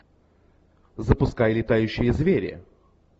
запускай летающие звери